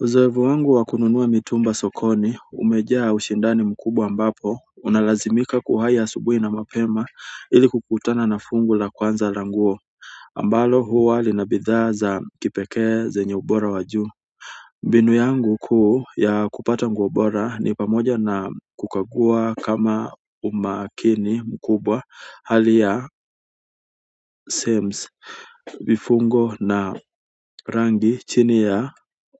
Uzoefu wangu wa kununua mitumba sokoni umejaa ushindani mkubwa ambapo unalazimika kuamka asubuhi na mapema ili kukutana na fungu la kwanza la nguo ambalo huwa lina bidhaa za kipekee zenye ubora wa juu. Mbinu yangu kuu ya kupata nguo bora ni pamoja na kukagua kwa umakini mkubwa hali ya sems vifungo na rangi chini ya